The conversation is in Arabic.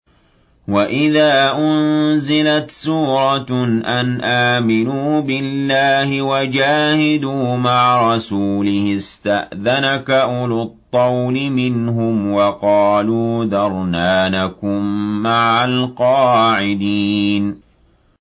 وَإِذَا أُنزِلَتْ سُورَةٌ أَنْ آمِنُوا بِاللَّهِ وَجَاهِدُوا مَعَ رَسُولِهِ اسْتَأْذَنَكَ أُولُو الطَّوْلِ مِنْهُمْ وَقَالُوا ذَرْنَا نَكُن مَّعَ الْقَاعِدِينَ